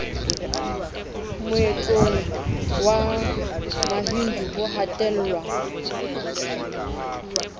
moetlong wa mahindu ho hatellwa